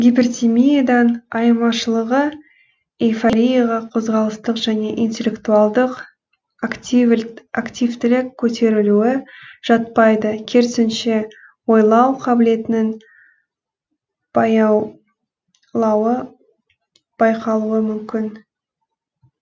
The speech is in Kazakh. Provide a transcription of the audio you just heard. гипертимиядан айырмашылығы эйфорияға қозғалыстық және интеллектуалдық активтілік көтерілуі жатпайды керісінше ойлау қабілетінің баяу лауы байқалуы мүмкін